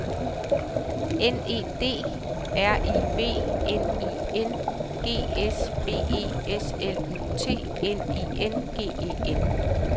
N E D R I V N I N G S B E S L U T N I N G E N